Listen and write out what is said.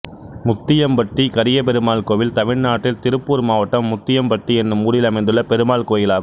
முத்தியம்பட்டி கரியபெருமாள் கோயில் தமிழ்நாட்டில் திருப்பூர் மாவட்டம் முத்தியம்பட்டி என்னும் ஊரில் அமைந்துள்ள பெருமாள் கோயிலாகும்